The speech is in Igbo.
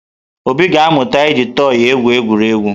Obi ga-amụta iji tọị egwuri egwu.